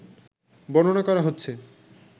বর্ণনা করা হচ্ছে